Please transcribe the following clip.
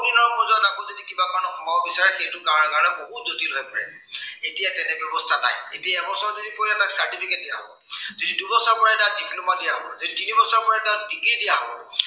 পিছৰ পৰ্যায়ত আকৌ যদি সোমাব বিচাৰে, সেইটোৰ কাৰনে বহু জটিল হৈ পৰে। এতিয়া তেনে ব্য়ৱস্থা নাই। এতিয়া এবছৰ যদি পঢ়ে, তাক certificate দিয়া হব। যদি দুবছৰ পঢ়ে তাক diploma দিয়া হব, যদি তিনিবছৰ তাক degree দিয়া হব।